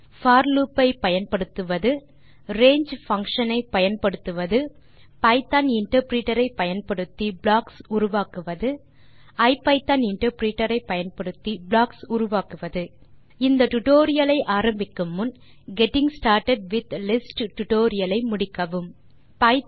போர் loop ஐ பயன்படுத்துவது range function ஐ பயன்படுத்துவது பைத்தோன் இன்டர்பிரிட்டர் ஐ பயன்படுத்தி ப்ளாக்ஸ் உருவாக்குவது ஐபிதான் இன்டர்பிரிட்டர் ஐ பயன்படுத்தி ப்ளாக்ஸ் உருவாக்குவது இந்த டியூட்டோரியல் ஐ ஆரம்பிக்கும் முன் நீங்கள் getting started with lists tutorial ஐ முடித்து வர பரிந்துரைக்கிறோம்